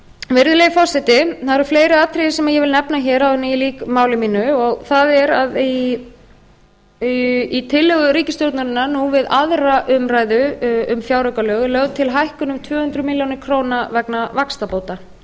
virðulegi forseti það eru fleiri atriði sem ég vil nefna hér áður en ég lýk máli mínu í tillögu ríkisstjórnar nú við aðra umræðu um fjáraukalög tvö þúsund og sex er lögð til hækkun um tvö hundruð milljóna króna vegna vaxtabóta